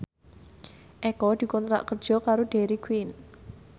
Eko dikontrak kerja karo Dairy Queen